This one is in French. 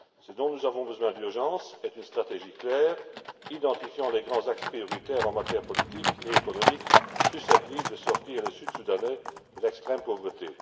Ce dont nous avons besoin d'urgence, c'est d'une stratégie claire identifiant les grands axes prioritaires en matière politique et économique susceptibles de sortir les Sud Soudanais de l'extrême pauvreté.